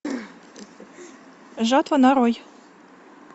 жатва нарой